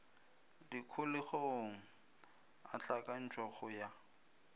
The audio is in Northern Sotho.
dikholegong a hlakantšhwa go ya